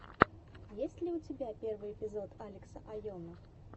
есть ли у тебя первый эпизод алекса айоно